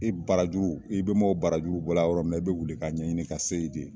I barajuru i bɛmaaw barajuru bɔra yɔrɔ min na i bɛ wuli ka ɲɛɲini ka se ye. de